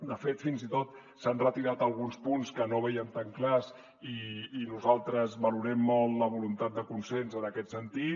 de fet fins i tot s’han retirat alguns punts que no vèiem tan clars i nosaltres valorem molt la voluntat de consens en aquest sentit